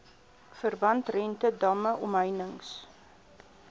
verbandrente damme omheinings